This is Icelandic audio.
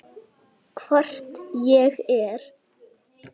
Hvort ég er.